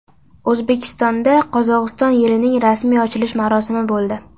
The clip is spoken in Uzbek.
O‘zbekistonda Qozog‘iston yilining rasmiy ochilish marosimi bo‘ldi.